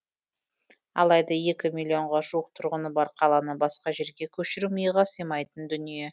алайда екі миллионға жуық тұрғыны бар қаланы басқа жерге көшіру миға сыймайтын дүние